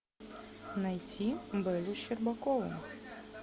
найти беллу щербакову